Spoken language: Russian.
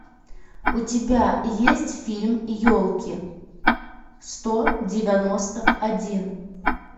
у тебя есть фильм елки сто девяносто один